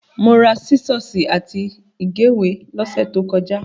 Mo ra sísọ́ọ́sì àti ìgéwèé lọ́sẹ̀ tó kọjá.